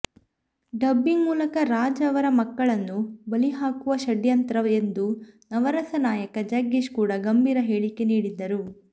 dubbing ಮೂಲಕ ರಾಜ್ ಅವರ ಮಕ್ಕಳನ್ನು ಬಲಿ ಹಾಕುವ ಷಡ್ಯಂತ್ರ ಎಂದು ನವರಸನಾಯಕ ಜಗ್ಗೇಶ್ ಕೂಡಾ ಗಂಭೀರ ಹೇಳಿಕೆ ನೀಡಿದ್ದರು